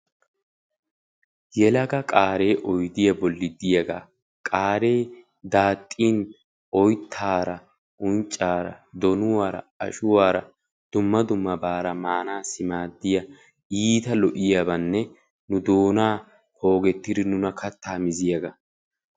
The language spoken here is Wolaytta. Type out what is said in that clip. yelaga qaaree oyidiya bolli diyaagaa qaaree daaxxin oyittaara, unccaara, donuwaara, ashuwaara dumma dummabaara maanaassi maaddiya iita lo'iyabanne doonaa poogettidi nuna kattaa miziyaaba.